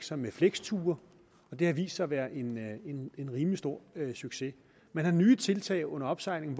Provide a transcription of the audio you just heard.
sig med fleksture det har vist sig at være en rimelig stor succes man har nye tiltag under opsejling